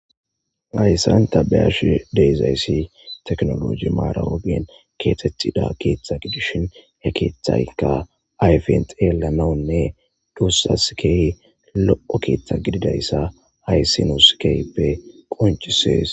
Ayssanta beyash deezayssi teknoloji maara woben keetetida keeththa gidishin he keethaykka ayfent eela naunne duussas key lo'o keeththa gididayssa aysinoskeype qonchisees.